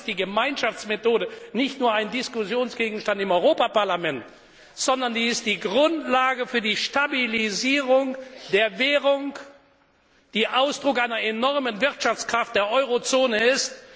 Deshalb ist die Gemeinschaftsmethode nicht nur ein Diskussionsgegenstand im Europäische Parlament, sondern die Grundlage für die Stabilisierung der Währung, die Ausdruck einer enormen Wirtschaftskraft der Eurozone